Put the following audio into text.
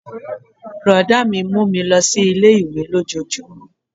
Brọ̀dá mi mú mi lọ sí ilé-ìwé lójojúmó